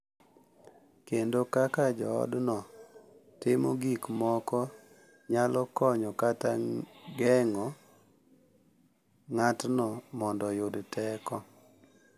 Kendo kaka joodno timo gik moko nyalo konyo kata geng’o ng’atno mondo oyud teko.